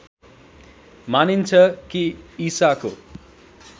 मानिन्छ कि ईसाको